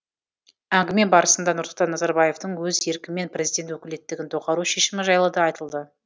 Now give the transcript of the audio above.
әңгіме барысында нұрсұлтан назарбаевтың өз еркімен президент өкілеттігін доғару шешімі жайлы да айтылды